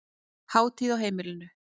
Hátíð á heimilinu